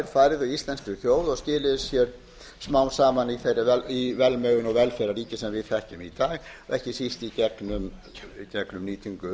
færðu íslenskri þjóð og skiluðu sér smám saman í þeirri velmegun og velferðarríki sem við þekkjum í dag og ekki síst í gegnum nýtingu